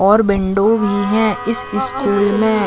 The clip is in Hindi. और विंडो भी है इस स्कूल में--